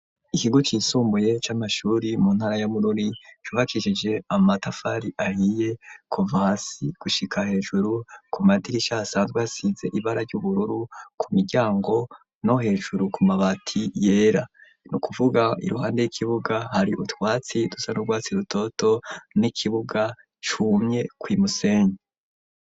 Ikigo cisumbuye c'amashure mu ntara ya Bururi cubakishije amatafari ahiye kuva hasi gushika hejuru , ku madirisha hasanzwe hasize ibara ry'ubururu, ku miryango no hejuru ku mabati yera, n'ukuvuga iruhande y'ikibuga hari utwatsi dusa n'urwatsi rutoto n'ikibuga cumye kw'imusenyi.